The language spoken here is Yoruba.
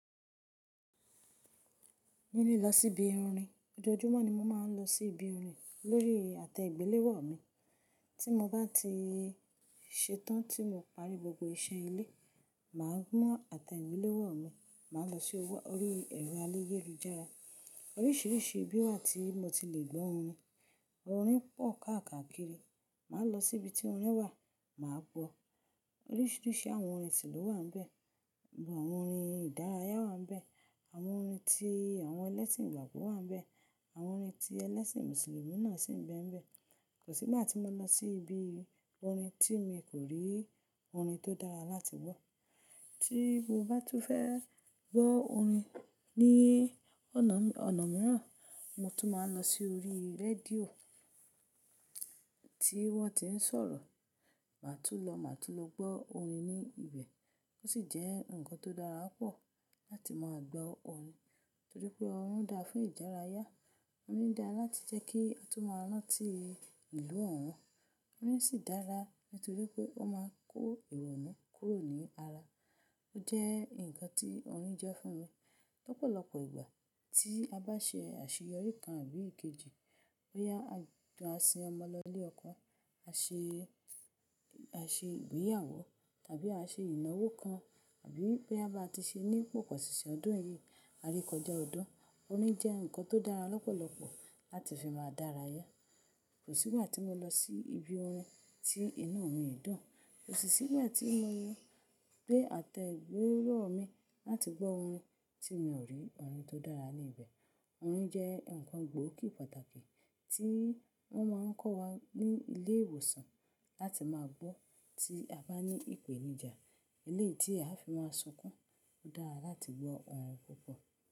Níní lọ sí ibi orin. Ojoojúmọ́ ni mo máa ń lọ sí ibi orin lórí àtẹ ìgbéléwọ́ mi. Tí mo bá ti ṣetán tí mo parí gbogbo iṣẹ́ ilé, mà á mú àtẹ ìgbéléwọ́ mi, mà á lọ sí orí ẹ̀rọ ayélujára. Oríṣiríṣi ibi wà tí mo ti le gbọ́ orin. Orin pọ̀ káàkiri, mà á lọ sí ibi tí orin wà, mà á gbọ́. Oríṣiríṣi àwọn orin tìlú wà níbẹ̀, àwọn orin ìdárayá wà níbẹ̀, àwọn orin tí àwọn ẹlẹ́sìn ìgbàgbọ́ wà níbẹ̀, àwọn orin tí ẹlẹ́sìn Mùsùlùmí náà sì ń bẹ níbẹ̀. Kò sí ìgbà tí mo lọ sí ibi orin tí mi kò rí orin tó dára láti gbọ́. Tí mo bá tún fẹ́ gbọ́ orin ní ọ̀nà mìíràn, mo tún máa ń lọ sí orí rédíò tí wọ́n ti ń sọ̀rọ̀. Màá tún lọ, màá tún lọ gbọ́ orin ní ibẹ̀. Ó sì jẹ́ ǹkan tó dára pọ̀ láti máa gbọ́ orin, torí pé orin dáa fún ìdárayá, orin dáa láti jẹ́ kí a tún máa rantí ìlú òun. Orin sì dára nítorí pé ó máa ń kó ironu kúrò ní ara. Ó jẹ́ ǹkan tí orin jẹ́ fún mi. Ọ̀pọ̀lọpọ̀ ìgbà tí a bá ṣe àṣeyọrí kan àbí èkejì, bóyá a sin ọmọ lọ ilé ẹ̀kọ́, a ṣe, a ṣe ìgbéyàwó tàbí a ṣe ìnáwó kan, àbí bóyá bá ti ṣe ní poposinsin ọdún yìí, a re kọjá ọdún, orin jẹ́ ǹkan tó dára lọ́pọ̀lọpọ̀ láti fi máa dárayá. Kò sí ìgbà tí mo lọ sí ibi orin tí inú mi idùn, kò sì sí ìgbà tí mo lọ gbeé àtẹ ìgbéléwọ́ mi láti gbọ́ orin tí mi ò rí orin tó dára ní ibẹ̀. Orin jẹ́ ǹkan gbòógì pàtàkì tí wọ́n máa ń kó wá ní ilé ìwòsàn láti máa gbọ́ tí a bá ní ìpèníjà. Eléyi ti a fi máa sunkún, ó dára láti gbọ́ orin púpọ̀.